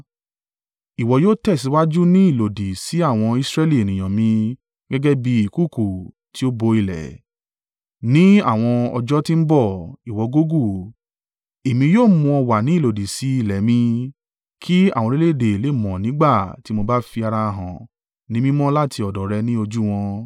Ìwọ yóò tẹ̀síwájú ní ìlòdì sí àwọn Israẹli ènìyàn mi gẹ́gẹ́ bí ìkùùkuu tí ó bo ilẹ̀. Ni àwọn ọjọ́ tí ń bọ̀, ìwọ Gogu, èmi yóò mú ọ wá ní ìlòdì sí ilẹ̀ mi, kí àwọn orílẹ̀-èdè lè mọ̀ mi nígbà tí mo bá fi ara hàn ni mímọ́ láti ọ̀dọ̀ rẹ ní ojú wọn.